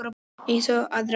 Eins og að ráða gátu.